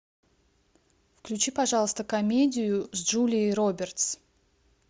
включи пожалуйста комедию с джулией робертс